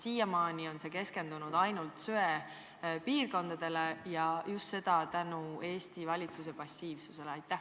Siiamaani on keskendutud ainult söepiirkondadele ja seda Eesti valitsuse passiivsuse tõttu.